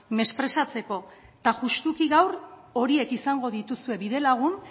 mesprezatzeko eta justuki gaur horiek izango dituzue bidelagun